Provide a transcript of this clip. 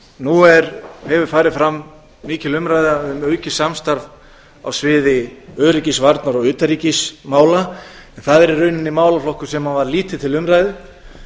nú hefur farið fram mikil umræða um aukið samstarf á sviði öryggisvarna og utanríkismála en það er í rauninni málaflokkur sem var lítið til umræðu